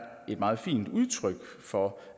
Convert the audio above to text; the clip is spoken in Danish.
et meget fint udtryk for